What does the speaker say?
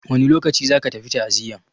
Wane lokaci za ka tafi ta'aziyan?